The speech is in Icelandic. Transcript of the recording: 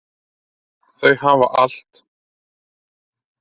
Þau hafa allt.